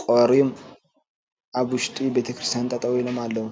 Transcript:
ቆሪም ኣብ ውሽጢ ቤተክርስትን ጠጠው ኢሎም ኣለው።